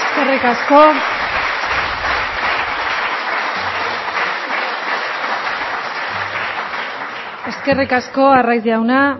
eskerrik asko arraiz jauna